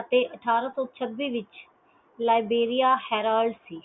ਅਤੇ ਅਠ੍ਹਾਰਾਂ ਸੋ ਛਬਿ ਵਿਚ liberia herald ਸੀ